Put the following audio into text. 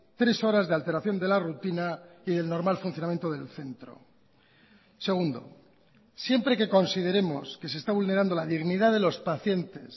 tres horas de alteración de la rutina y del normal funcionamiento del centro segundo siempre que consideremos que se está vulnerando la dignidad de los pacientes